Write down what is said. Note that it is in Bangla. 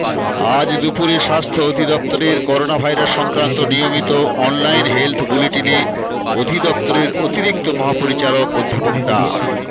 আজ দুপুরে স্বাস্থ্য অধিদফতরের করোনাভাইরাস সংক্রান্ত নিয়মিত অনলাইন হেলথ বুলেটিনে অধিদপ্তরের অতিরিক্ত মহাপরিচালক অধ্যাপক ডা